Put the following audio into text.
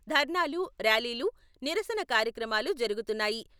దర్నాలు, ర్యాలీలు, నిరసన కార్యక్రమాలు జరుగుతున్నాయి.